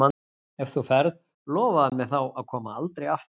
En ef þú ferð, lofaðu mér þá að koma aldrei aftur.